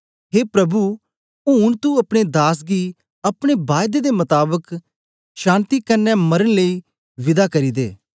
हे प्रभु ऊन तू अपने दास गी अपने बायदे दे मताबक शान्ति कन्ने मरन लेई विदा करी दे